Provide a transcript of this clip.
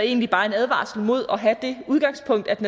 egentlig bare en advarsel imod at have det udgangspunkt at